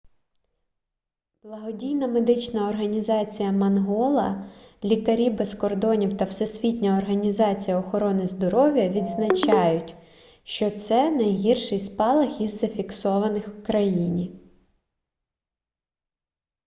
благодійна медична організація мангола лікарі без кордонів та всесвітня організація охорони здоров'я відзначають що це найгірший спалах із зафіксованих у країні